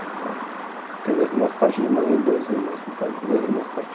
Então, tenho dois irmãos por parte de mãe e dois irmão, duas irmãs por parte